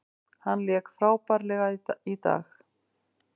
Hann lék frábærlega í dag.